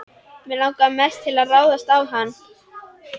Mig langaði mest til að ráðast á hann.